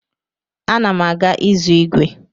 Ana m aga ịzụ ígwè.